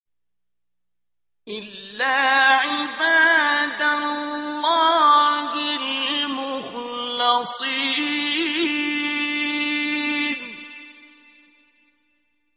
إِلَّا عِبَادَ اللَّهِ الْمُخْلَصِينَ